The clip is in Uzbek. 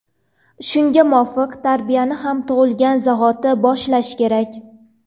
Shunga muvofiq, tarbiyani ham tug‘ilgan zahoti boshlash kerak.